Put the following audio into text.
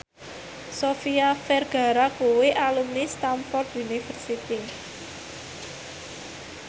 Sofia Vergara kuwi alumni Stamford University